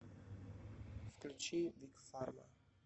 включи биг фарма